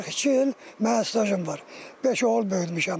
42 il mənim stajım var, beş oğul böyütmüşəm.